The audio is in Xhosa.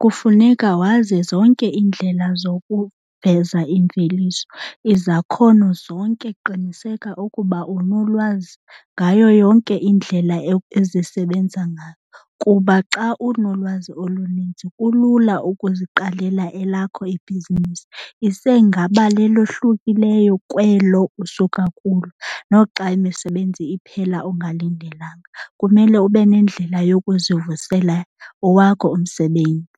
kufuneka wazi zonke iindlela zokuveza imveliso. Izakhono zonke qiniseka ukuba unolwazi ngayo yonke indlela ezisebenza ngayo kuba xa unolwazi oluninzi kulula ukuziqalela elakho ibhizinisi, isengaba lelohlukileyo kwelo usuka kulo. Noxa imisebenzi iphela ungalindelanga kumele ube nendlela yokuzivusela owakho umsebenzi.